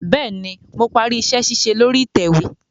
Bẹẹni, Mo pari iṣẹ-ṣiṣe lori itẹwe